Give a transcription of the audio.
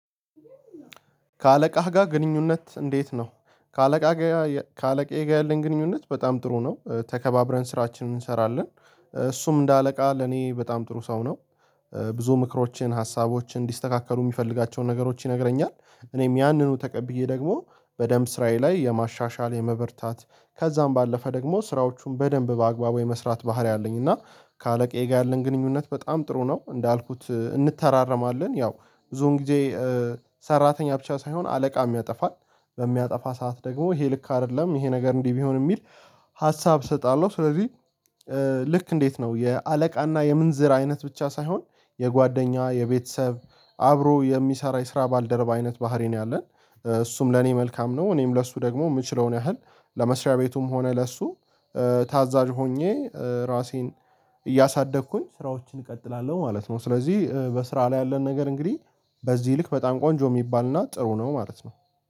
ከአለቃህ ጋር ግንኙነት እንዴት ነው? ከአለቃጋር ከአለቅየ ጋር ያለኝ ግንኙነት በጣም ጥሩ ነው ተከባብረን ስራችንን እንሰራለን እሱም እንደ አለቃ ለኔ በጣም ጥሩ ሰው ነው ብዙ ምክሮችን ሀሳቦችን እንዲስተካከሉ የሚፈልጋቸውን ነገሮች ይነግረኛል እኔም ያንኑ ተቀብዬ ደግሞ በደንብ ስራዬ ላይ የማሻሻል የመበርታት ከዛም ባለፈ ደግሞ ስራዎቹን በደንብ በአግባቡ የመስራት ባህሪ አለኝ እና ከአለቃዬ ጋር ያለን ግንኙነት በጣም ጥሩ ነው እንዳልኩት እንተራረማለን ያው ብዙ ጊዜ ሰራተኛ ብቻ ሳይሆን አለቃም ያጠፋል፤ በሚያጠፋ ሰዓት ደግሞ ይሄ ልክ አይደለም ይሄ ነገር እንዲህ ቢሆን የሚል ሀሳብ እሰጣለሁ ስለዚህ ልክ እንዴት ነው የአለቃና የምንዝር አይነት ብቻ ሳይሆን የጓደኛ የቤተሰብ አብሮ የሚሰራ የስራ ባልደረባ አይነት ባህሪ ነው ያለን እሱም ለኔ መልካም ነው እኔም ለሱ ደግሞ የምችለውን ያህል ለመስሪያ ቤቱም ሆነ ለእሱ ታዛዥ ሆኜ ራሴን እያሳደግኩኝ ስራዎችን እቀጥላለሁ ማለት ነው ስለዚህ በስራ ላይ ያለን ነገር እንግዲህ በዚህ ይልክ በጣም ቆንጆ የሚባልና ጥሩ ነው ማለት ነው።